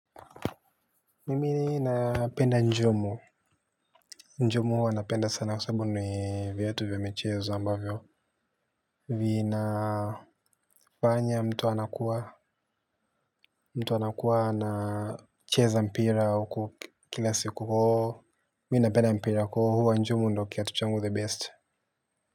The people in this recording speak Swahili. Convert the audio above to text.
Mimini napenda njumu. Njumu huwa napenda sana kwa sababu ni viatu vya michezo ambavyo vinafanya mtu anakuwa mtu anakuwa anacheza mpira huko kila siku. Mimi napenda mpira kwa hivyo njumu ndyo kiatu changu the best.